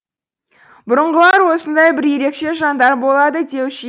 бұрынғылар осындай бір ерекше жандар болады деуші